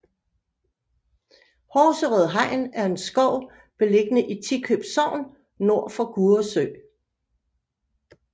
Horserød Hegn er en skov beliggende i Tikøb Sogn nord for Gurre Sø